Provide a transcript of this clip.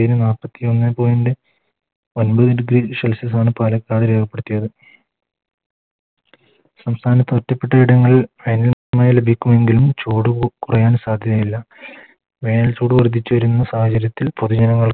നാപ്പത്തി ഒന്നേ Point ഒൻപത് Degree celsius ആണ് പാലക്കാട് രേഖപ്പെടുത്തിയത് സംസ്ഥാനത്ത് ഓറ്റപ്പെട്ട ഇടങ്ങളിൽ വേനൽ മഴ ലഭിക്കുമെങ്കിലും ചൂട് കു കുറയാൻ സാധ്യതയില്ല വേനൽ ചൂട് വർദ്ധിച്ചു വരുന്ന സാഹചര്യത്തിൽ പൊതു ജനങ്ങൾ